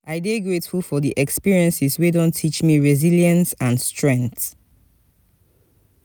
i dey grateful for the experiences wey don teach me resilience and strength.